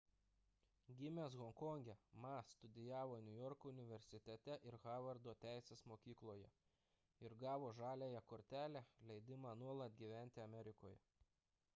gimęs honkonge ma studijavo niujorko universitete ir harvardo teisės mokykloje ir gavo žaliąją kortelę leidimą nuolat gyventi amerikoje